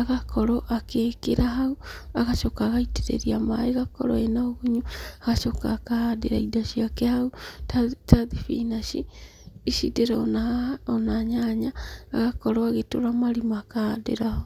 agakorwo agĩkĩra hau agacoka agaitĩrĩria maĩ ĩgakorwo ĩnaũgumunyu agacooka akahandĩra indo ciake hau ta thibinachi ici ndĩrona haha ona nyanya agakorwo agĩtũra marima akahandĩra hau.